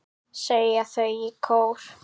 segja þau í kór.